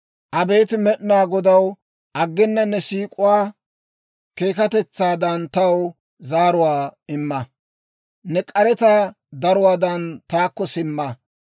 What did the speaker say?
Abeet Med'inaa Godaw, aggena ne siik'uwaa keekkatetsaadan, taw zaaruwaa imma. Ne k'aretaa daruwaadan taakko simma.